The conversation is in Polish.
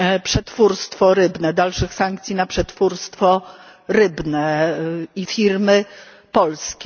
na przetwórstwo rybne, dalszych sankcji na przetwórstwo rybne i firmy polskie.